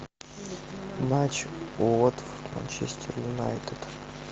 матч уотфорд манчестер юнайтед